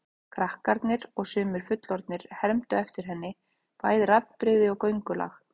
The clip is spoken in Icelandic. Krakkar og sumir fullorðnir hermdu eftir henni, bæði raddbrigði og göngulag.